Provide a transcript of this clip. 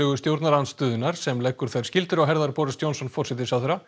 stjórnarandstöðunnar sem leggur þær skyldur á herðar Boris Johnson forsætisráðherra